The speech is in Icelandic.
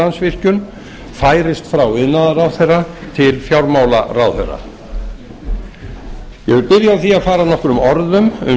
landsvirkjun færist frá iðnaðarráðherra til fjármálaráðherra ég vil byrja á því að fara nokkrum orðum um